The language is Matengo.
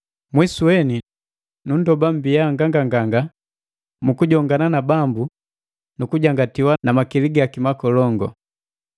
Mwisu weni, nundoba mbiya nganganganga mukujongana na Bambu na kukujangatiwa na makili gaki makolongu.